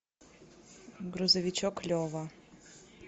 грузовичок лева